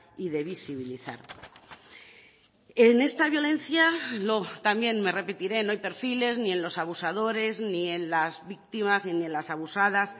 y de visibilizar en esta violencia también me repetiré no hay perfiles ni en los abusadores ni en las víctimas ni en las abusadas